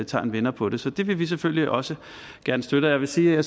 tager en vender på det så det vil vi selvfølgelig også gerne støtte jeg vil sige at